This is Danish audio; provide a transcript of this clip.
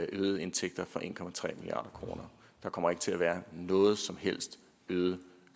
øgede indtægter for en milliard kroner der kommer ikke til at være nogen som helst øget